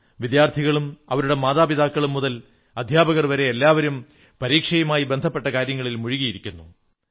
വിദ്യാർഥികളും അവരുടെ മാതാപിതാക്കളും മുതൽ അധ്യാപകർ വരെ എല്ലാവരും പരീക്ഷയുമായി ബന്ധപ്പെട്ട കാര്യങ്ങളിൽ മുഴുകിയിരിക്കുന്നു